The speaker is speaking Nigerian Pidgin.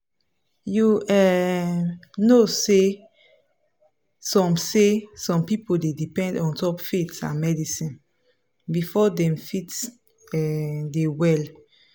you um know say some say some people dey depend ontop faith and medicine before dem fit um dey well.